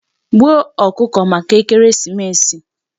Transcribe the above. Gbuo ọkụkọ maka ekeresimesi!